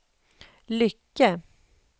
Lycke